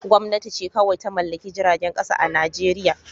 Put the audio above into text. Gwamnati ce kawai ta mallaki jiragen kasa a Najeriya